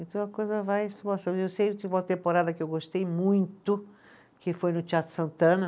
Então a coisa vai Eu sei uma temporada que eu gostei muito, que foi no Teatro Santana.